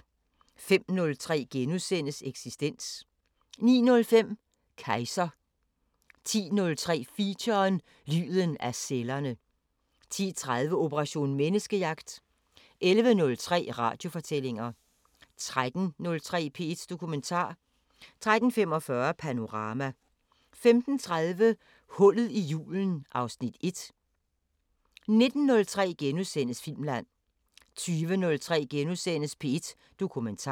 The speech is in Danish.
05:03: Eksistens * 09:05: Kejser 10:03: Feature: Lyden af cellerne 10:30: Operation Menneskejagt 11:03: Radiofortællinger 13:03: P1 Dokumentar 13:45: Panorama 15:30: Hullet i julen (Afs. 1) 19:03: Filmland * 20:03: P1 Dokumentar *